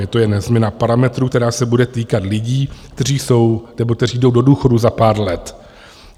Je to jen změna parametrů, která se bude týkat lidí, kteří jsou, nebo kteří jdou do důchodu za pár let.